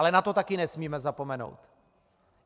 Ale na to taky nesmíme zapomenout.